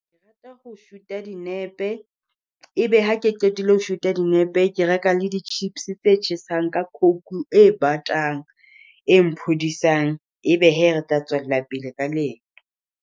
Ke rata ho shoot dinepe, e be ha ke qetile ho shoot dinepe. Ke reka le di chips tse tjhesang, ka coke e batang e mphodisang, e be hee re tla tswela pele ka leeto.